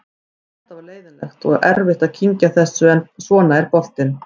Þetta var leiðinlegt og erfitt að kyngja þessu en svona er boltinn.